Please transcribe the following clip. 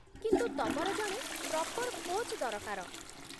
କିନ୍ତୁ ତମର ଜଣେ ପ୍ରପର୍ କୋଚ୍ ଦରକାର ।